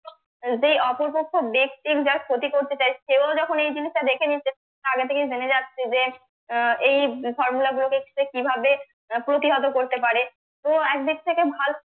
যে অপর পক্ষ ব্যক্তি যার ক্ষতি করতে চায় কেউ যখন এই জিনিসটা দেখে নিচ্ছে আগে থেকেই জেনে যাচ্ছে যে আহ এই formula গুলোকে সে কিভাবে প্রতিহত করতে পারে তো একদিক থেকে